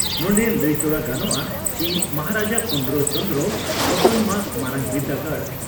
ᱱᱚᱸᱰᱮ ᱞᱟᱹᱭᱛᱚᱨᱟ ᱜᱟᱱᱚᱜᱼᱟ ᱪᱤ ᱢᱚᱦᱟᱨᱟᱡᱟ ᱯᱩᱨᱱᱚ ᱪᱚᱸᱫᱽᱨᱚ ᱟᱴᱚᱱᱚᱢᱟᱥ ᱢᱟᱨᱟᱝ ᱵᱤᱨᱫᱟᱹᱜᱟᱲ